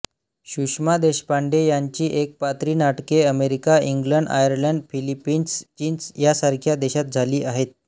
सुषमा देशपांडे यांची एकपात्री नाटके अमेरिका इंग्लंड आयर्लंड फिलिपीन्स चीन यांसारख्या देशांत झाली आहेत